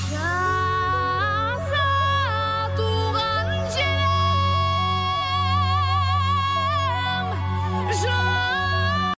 жаса туған жерім